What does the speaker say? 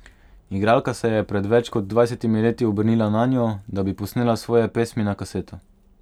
Igralka se je pred več kot dvajsetimi leti obrnila nanjo, da bi posnela svoje pesmi na kaseto.